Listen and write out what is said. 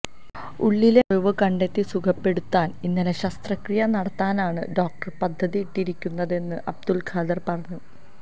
ഉള്ളിലെ മുറിവ് കണ്ടെത്തി സുഖപ്പെടുത്താന് ഇന്നലെ ശസ്ത്രക്രിയനടത്താനാണ് ഡോക്ടര് പദ്ധതിയിട്ടിരിക്കുന്നതെന്ന് അബ്ദുല്ഖാദര് പറഞ്ഞു